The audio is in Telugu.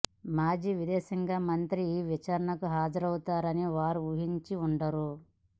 మాజీ విదేశాంగ మంత్రి ఈ విచారణకు హాజరవుతారని వారు ఊహించి ఉండరు